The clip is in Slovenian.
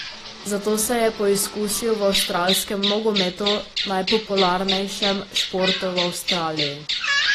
Zato se je poizkusil v avstralskem nogometu, najpopularnejšem športu v Avstraliji.